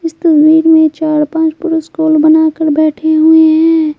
इस तस्वीर में चार पांच पुरुष स्कूल बनाकर बैठे हुए हैं।